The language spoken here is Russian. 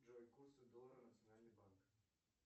джой курсы доллара национальный банк